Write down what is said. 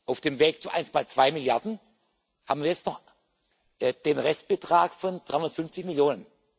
Auf dem Weg zu 1,2 Milliarden haben wir jetzt noch den Restbetrag von 350 Millionen.